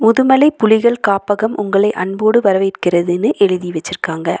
முதுமலை புலிகள் காப்பகம் உங்களை அன்போடு வரவேற்கிறதுன்னு எழுதி வெச்சிருக்காங்க.